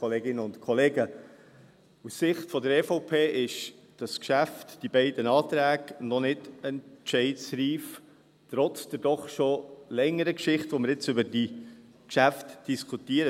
Aus der Sicht der EVP ist dieses Geschäft, die beiden Anträge, noch nicht entscheidreif, trotz der doch schon längeren Geschichte, während der wir jetzt über diese Geschäfte diskutieren.